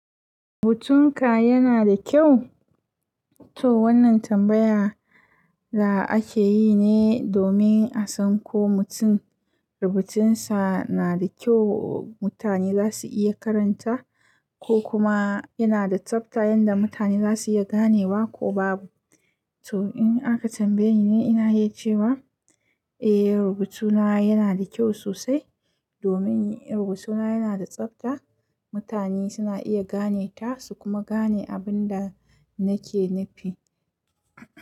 Rubutunka yana da kyau? To wannan tambaya da ake yi ne domin a san ko mutum rubutinsa na da kyau mutane za su iya karanta, ko kuma yana da tsabta yanda mutane za su iya ganewa ko babu. To in aka tambaye ni, ina iya cewa eh rubutuna yana da kyau sosai. Domin rubutuna yana da tsabta, mutane suna iya ganeta su kuma gane abin da nake nufi.